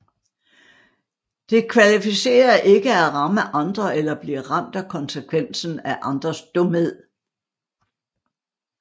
Det kvalificerer ikke at ramme andre eller at blive ramt af konsekvensen af andres dumhed